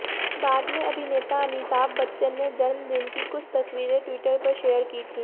बाद में अभिनेता अमिताभ बच्चन ने जन्मदिन की कुछ तस्वीरें ट्विटर पर शेयर की थी